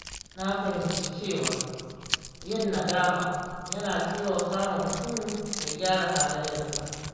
Na fahimci cewa yin nadama yana taimakawa mutum ya gyara halayensa.